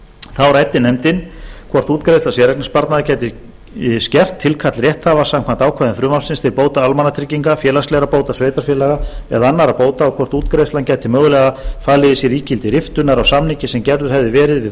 þá ræddi nefndin hvort útgreiðsla séreignarsparnaðar gæti skert tilkall rétthafa samkvæmt ákvæðum frumvarpsins til bóta almannatrygginga félagslegra bóta sveitarfélaga eða annarra bóta og hvort útgreiðslan gæti mögulega falið í sér ígildi riftunar á samningi sem gerður hefði verið við